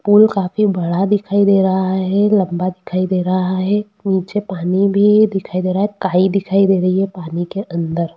पुल काफी बड़ा दिखाई दे रहा है लम्बा दिखाई दे रहा है नीचे पानी भी दिखाई दे रहा है काई दिखाई दे रही है पानी के अंदर।